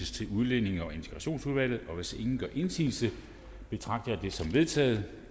til udlændinge og integrationsudvalget hvis ingen gør indsigelse betragter jeg det som vedtaget